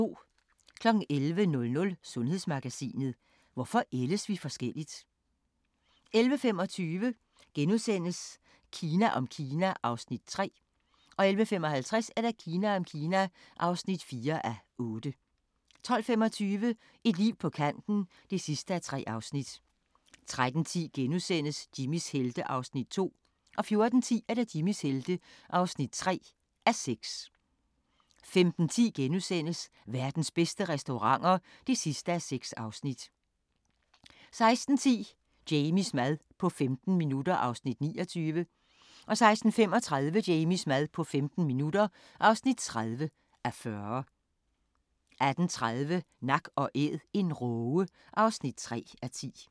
11:00: Sundhedsmagasinet: Hvorfor ældes vi forskelligt? 11:25: Kina om Kina (3:8)* 11:55: Kina om Kina (4:8) 12:25: Et liv på kanten (3:3) 13:10: Jimmys helte (2:6)* 14:10: Jimmys helte (3:6) 15:10: Verdens bedste restauranter (6:6)* 16:10: Jamies mad på 15 minutter (29:40) 16:35: Jamies mad på 15 minutter (30:40) 18:30: Nak & Æd - en råge (3:10)